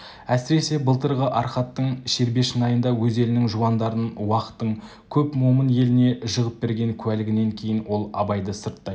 әсіресе былтырғы арқаттың шербешнайында өз елінің жуандарын уақтың көп момын еліне жығып берген куәлігінен кейін ол абайды сырттай